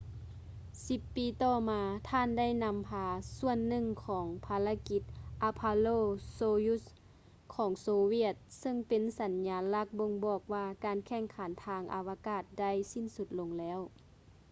ສິບປີຕໍ່ມາ ທ່ານໄດ້ນຳພາສ່ວນໜຶ່ງຂອງພາລະກິດ ອາໂປໂລ ໂຊຢຸດຊ໌ apollo - soyuz ຂອງໂຊຫວຽດ ຊຶ່ງເປັນສັນຍາລັກບົ່ງບອກວ່າ ການແຂ່ງຂັນທາງອາວະກາດໄດ້ສິ້ນສຸດລົງແລ້ວ